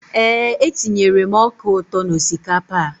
Eé, etinyere m ọka ụtọ n'osikapa a.